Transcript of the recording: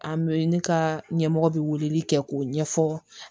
An bɛ ne ka ɲɛmɔgɔ bi weleli kɛ k'o ɲɛfɔ